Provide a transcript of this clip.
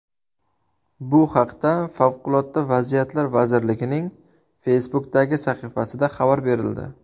Bu haqda Favqulodda vaziyatlar vazirligining Facebook’dagi sahifasida xabar berildi .